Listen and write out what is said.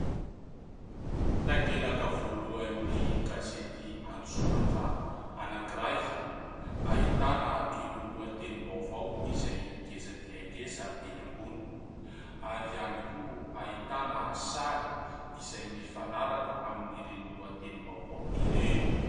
Takelaka voalohany gazety an-tsoratra anankiray ahitana ireo lohatenim-baovao izay ngeza dia ngeza enỳ ambony ary ihany koa ahitana sary izay mifanaraka amin'ny ireny lohatenim-baovao ireny.